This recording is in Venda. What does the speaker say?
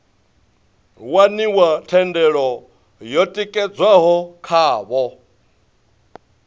waniwa thendelo yo tikedzwaho khavho